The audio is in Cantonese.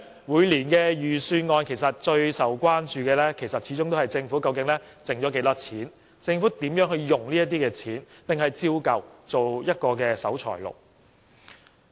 每年預算案最受關注的始終是政府的盈餘是多少，以及政府如何運用這些盈餘，抑或依舊做一個守財奴。